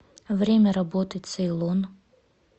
время работы цейлон